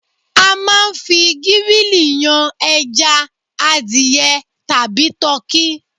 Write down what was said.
A máa ń fi gírìlì yan ẹja, adìẹ tàbí tọkí